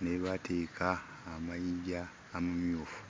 ne we baateeka amayinja amamyufu.